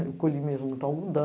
Eu colhi mesmo muito algodão.